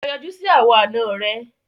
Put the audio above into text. Lọ yọjú sì àwọn àna rẹ!